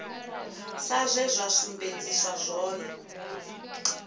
sa zwe zwa sumbedziswa zwone